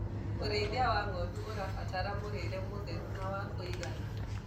ũrĩithi wa ng'ondu ũrabatara mũrĩre mũtheru na wa kũigana